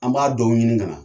An b'a dɔw ɲini ka na